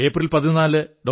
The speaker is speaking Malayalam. ഏപ്രിൽ 14 ഡോ